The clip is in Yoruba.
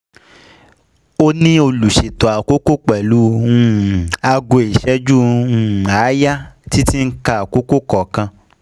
um Ó ní olùṣètò àkókò pẹ̀lú um aago ìṣẹ́jú um àáyá tí tí ń ka àkókò kọ̀ọ̀kan